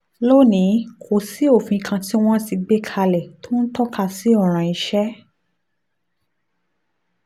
lónìí kò sí òfin kan tí wọ́n ti gbé kalẹ̀ tó ń tọ́ka sí ọ̀ràn iṣẹ́